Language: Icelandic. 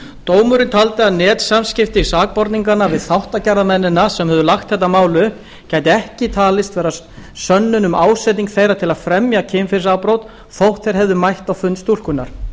dómurinn taldi að netsamskipti sakborninganna við þáttagerðarmennina sem höfðu lagt þetta mál upp gæti ekki talist vera sönnun um ásetning þeirra til að fremja kynferðisafbrot þótt þeir hefðu mætt á fund stúlkunnar